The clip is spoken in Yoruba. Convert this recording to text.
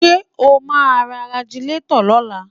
Ṣé o máa ra Ragilatọ̀ lọ́la?